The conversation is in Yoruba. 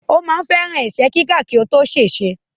Ó ma ń fẹ́ràn ẹ̀sẹ́ kíkàn kí ó tó ṣèṣe.